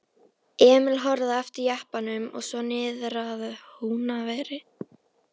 Emil horfði á eftir jeppanum og svo niðrað Húnaveri.